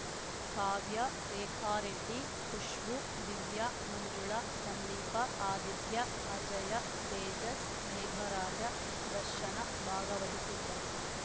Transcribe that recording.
ಕಾವ್ಯ ರೇಖಾ ರೆಡ್ಡಿ ಖುಷ್ಬೂ ದಿವ್ಯ ಮಂಜುಳ ಸಂದೀಪ ಆದಿತ್ಯ ಅಜಯ ತೇಜಸ್‌ ಮೇಘರಾಜ ದರ್ಶನ ಭಾಗವಹಿಸಿದ್ದರು